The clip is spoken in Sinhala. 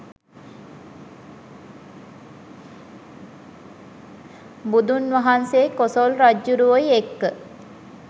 බුදුන් වහන්සෙයි කොසොල් රජ්ජුරුවොයි එක්ක